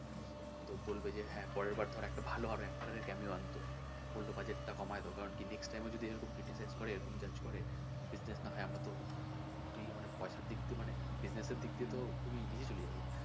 তো হ্যাঁ বলবে যে পরের বার হয়তো আরও ভালো actor দের কেও আনতো বললো budget টা কমায় দাও কারন next time ও যদি এরকম criticize করে এরকম judge করে business না হয় আমরা তো খুবই মানে পয়সার দিক দিয়ে মানে business এর দিক দিয়ে তো মানে খুবই ইয়ে তে চলে যাবো।